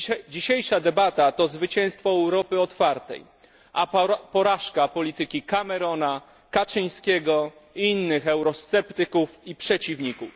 Dzisiejsza debata to zwycięstwo Europy otwartej, a porażka polityki Camerona, Kaczyńskiego i innych eurosceptyków i przeciwników.